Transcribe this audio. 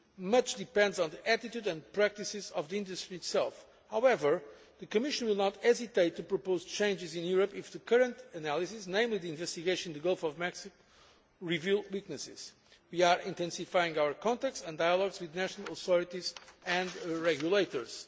of safety. Much depends on the attitude and practices of the industry itself. However, the Commission will not hesitate to propose changes in Europe if the current analysis, namely the investigation in the Gulf of Mexico, reveals weaknesses. We are intensifying our contacts and dialogues with national authorities